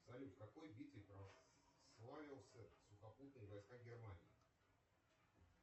салют в какой битве прославился сухопутные войска германии